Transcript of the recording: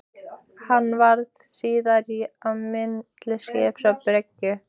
Hann varð síðar á milli skips og bryggju.